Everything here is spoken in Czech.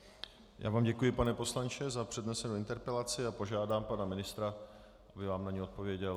Já vám děkuji, pane poslanče, za přednesenou interpelaci a požádám pana ministra, aby vám na ni odpověděl.